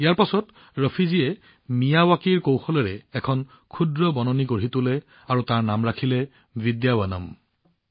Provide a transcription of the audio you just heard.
ইয়াৰ পিছত ৰফী জীয়ে মিয়াৱকীৰ কৌশলেৰে এখন ক্ষুদ্ৰ বনাঞ্চল বনাই তাৰ নাম ৰাখিলে বিদ্যাৱনম